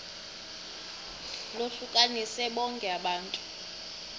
lohlukanise bonke abantu